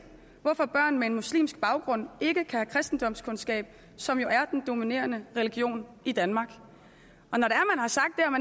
hvorfor børn med en muslimsk baggrund ikke kan have kristendomskundskab som jo er den dominerende religion i danmark